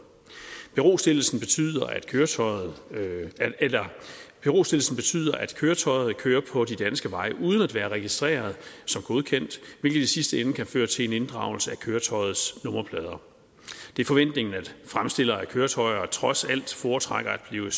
berostillelsen køretøjet berostillelsen betyder at køretøjet kører på de danske veje uden at være registreret som godkendt hvilket i sidste ende kan føre til en inddragelse af køretøjets nummerplader det er forventningen at fremstillere af køretøjer trods alt foretrækker at blive